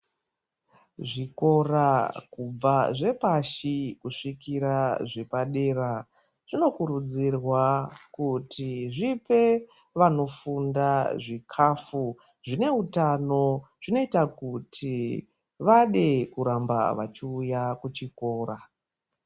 Zvikora kubva zvepashi kusvikira zvepa dera, zvinokurudzirwa kuti zvipe vanofunda, zvikhafu zvine utano, zvinoita kuti vade kuramba vachiuya kuchikora.